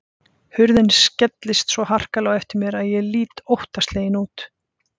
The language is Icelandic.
Hurðin skellist svo harkalega á eftir mér að ég lít óttaslegin út.